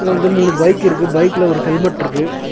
வந்து மூணு பைக் இருக்கு பைக்ல ஒரு ஹெல்மெட்ருக்கு .